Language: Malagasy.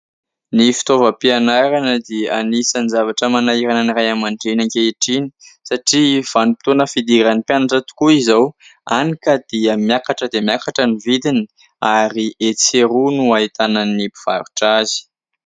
Ny fitaovam-pianarana dia anisan'ny zavatra manahirana ny ray aman-dreny ankehitriny satria vanim-potoana fidiran'ny mpianatra tokoa izao, hany ka dia miakatra dia miakatra ny vidiny ary etsy sy eroa no ahitana ny mpivarotra azy.